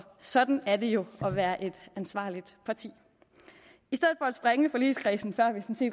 sådan er det jo at være et ansvarligt parti i forligskredsen før vi